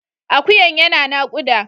Akuyan yana nakuda.